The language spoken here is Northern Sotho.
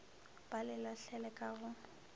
ba le lahlele ka go